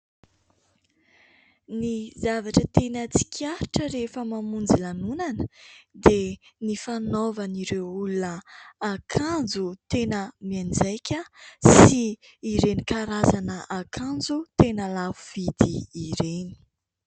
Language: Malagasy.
Ny zavatra teny tsikaritra rehefa mamonjy lanonana dia ny fanaovan'ireo olona akanjo tena mianjaika sy ireny karazana akanjo tena lafo vidy ireny.